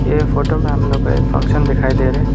ये फोटो में हम लोग को एक फंक्शन दिखाई दे रहे--